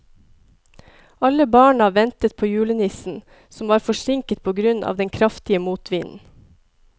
Alle barna ventet på julenissen, som var forsinket på grunn av den kraftige motvinden.